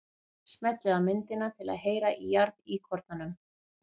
Smellið á myndina til að heyra í jarðíkornanum.